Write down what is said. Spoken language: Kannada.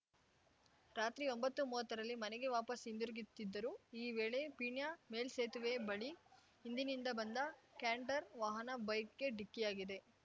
ರಾತ್ರಿ ಒಂಬತ್ತುಮುವತ್ತರಲ್ಲಿ ಮನೆಗೆ ವಾಪಸ್‌ ಹಿಂದಿರುಗಿತ್ತಿದ್ದರು ಈ ವೇಳೆ ಪೀಣ್ಯ ಮೇಲ್ಸೇತುವೆ ಬಳಿ ಹಿಂದಿನಿಂದ ಬಂದ ಕ್ಯಾಂಟರ್‌ ವಾಹನ ಬೈಕ್‌ಗೆ ಡಿಕ್ಕಿಯಾಗಿದೆ